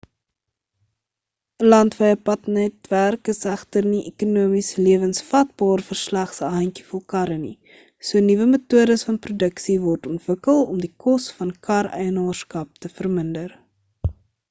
'n landwye padnetwerk is egter nie ekonomies lewensvatbaar vir slegs 'n handjievol karre nie so nuwe metodes van produksie word ontwikkel om die kos van kar eienaarskap te verminder